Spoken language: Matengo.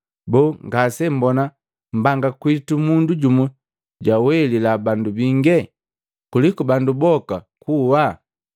Boo, ngase mbona mbanga kwinu mundu jumu jawelila bandu bingi, kuliku bandu boka kuwaa?”